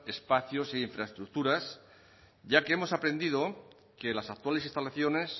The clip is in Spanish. espacios e infraestructuras ya que hemos aprendido que las actuales instalaciones